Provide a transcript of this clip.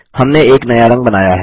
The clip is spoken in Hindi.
हमने एक नया रंग बनाया है160